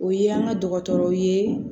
O ye an ka dɔgɔtɔrɔw ye